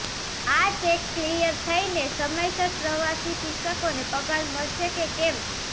આ cheque clear થઈને સમયસર પ્રવાસી શિક્ષકોને પગાર મળશે કે કેમ